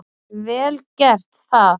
Vel gert það.